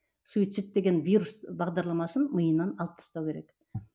суицид деген вирус бағдарламасын миынан алып тастау керек